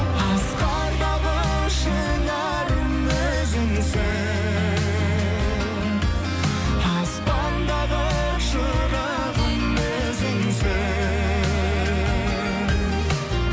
асқардағы шынарым өзіңсің аспандағы шырағым өзіңсің